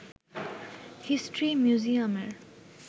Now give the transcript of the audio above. history মিউজিয়ামের